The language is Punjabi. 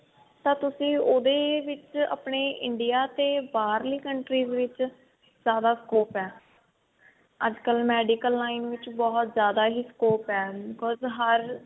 ਤਾਂ ਤੁਸੀਂ ਉਹਦੇ ਵਿੱਚ ਆਪਣੇ India ਤੇ ਬਾਹਰਲੀ country ਵਿੱਚ ਜਿਆਦਾ scope ਹੈ ਅੱਜਕਲ medical line ਵਿੱਚ ਬਹੁਤ ਜਿਆਦਾ ਹੀ scope ਹੈ because